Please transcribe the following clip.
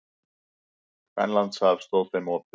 Grænlandshaf stóð þeim opið.